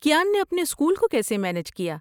کیان نے اپنے اسکول کو کیسے مینج کیا؟